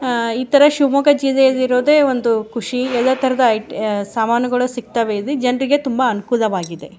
ಅಹ್ ಇತರ ಶಿಮೊಗ ಜಿಲ್ಲೆಲಿ ಇರೋದೇ ಒಂದು ಖುಷಿ. ಎಲ್ಲ ತರದ ಇಟ್ ಆ ಸಾಮಾನುಗಳು ಸಿಗ್ತವೆ ಇಲ್ಲಿ. ಜನರಿಗೆ ತುಂಬ ಅನುಕೂಲವಾಗಿದೆ.